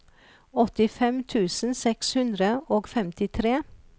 åttifem tusen seks hundre og femtitre